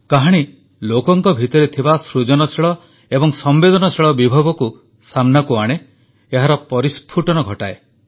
କାହାଣୀ ଲୋକଙ୍କ ଭିତରେ ଥିବା ସୃଜନଶୀଳ ଏବଂ ସମ୍ବେଦନଶୀଳ ବିଭବକୁ ସାମନାକୁ ଆଣେ ଏହାର ପରିସ୍ଫୁଟନ କରାଏ